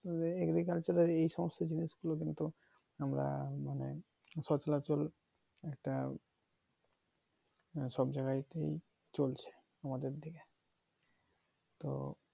agriculture এর এই সমস্ত জিনিস গুলো কিন্তু আমরা মানে সচরাচর একটা সব জায়গাতেই চলছে আমাদের দিকে তো